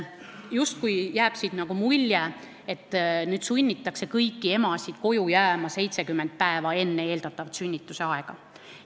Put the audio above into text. Siit jääb justkui mulje, et nüüd sunnitakse kõiki emasid koju jääma 70 päeva enne eeldatavat sünnitusaega.